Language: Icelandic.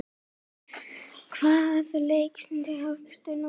Hvaða leikstíl hyggstu nota?